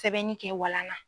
Sɛbɛnni kɛ walan na.